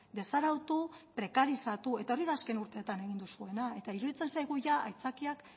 desarautu prekarizatu eta hori da azken urteetan egin duzuena eta iruditzen zaigu aitzakiak